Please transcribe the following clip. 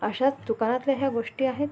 अश्याच दुकानंतल्या ह्या गोष्टी आहेत.